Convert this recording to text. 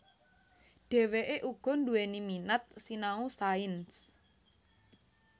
Dheweke uga duwéni minat sinau sains